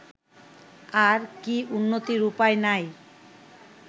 আর কি উন্নতির উপায় নাই